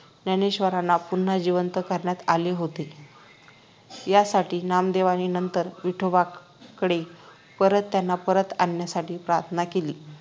ज्ञानेश्वरांना पुन्हा जिवंत करण्यात आले होते यासाठी नामदेवांनी नंतर विठोबाकडे परत त्यांना परत आणण्यासाठी प्रार्थना केली